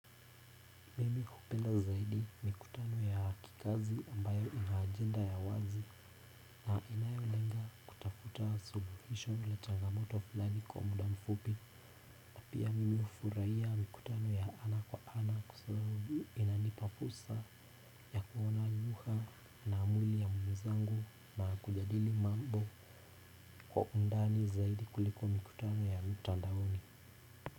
Mimi hupenda zaidi mikutano ya kikazi ambayo ina ajenda ya wazi na inayolenga kutafuta suluhisho la changamoto fulani kwa muda mfupi. Pia mimi hufurahia mikutano ya ana kwa ana kwa sababu inanipa fursa ya kuona lugha na mwili ya mwenzangu na kujadili mambo kwa undani zaidi kuliko mikutano ya mtandaoni.